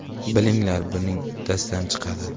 Bilinglar buning uddasidan chiqadi.